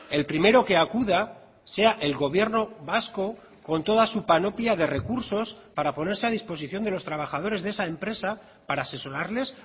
el primero que acuda sea el gobierno vasco con toda su panoplia de recursos para ponerse a disposición de los trabajadores de esa empresa para asesorarles